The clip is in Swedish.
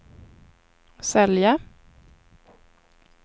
sälja